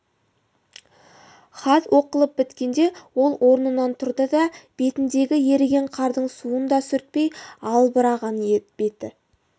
хат оқылып біткенде ол орнынан тұрды да бетіндегі еріген қардың суын да сүртпей албыраған беті